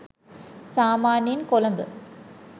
සාමාන්‍යයෙන් කොළඹ